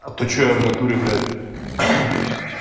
а то что я в натуре блять